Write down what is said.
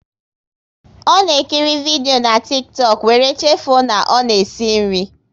Ọ na ekiri vidio na Tiktọk, wéré chefuo na ọ na-esi nri